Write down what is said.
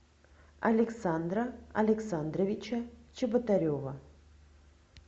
александра александровича чеботарева